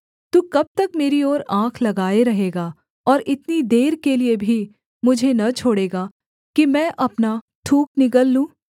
तू कब तक मेरी ओर आँख लगाए रहेगा और इतनी देर के लिये भी मुझे न छोड़ेगा कि मैं अपना थूक निगल लूँ